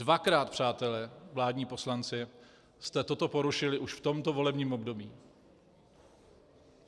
Dvakrát, přátelé, vládní poslanci, jste toto porušili už v tomto volebním období.